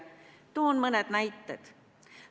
Toon mõned näited.